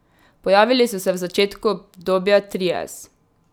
Pojavili so se v začetku obdobja trias.